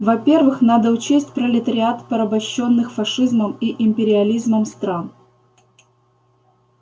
во первых надо учесть пролетариат порабощённых фашизмом и империализмом стран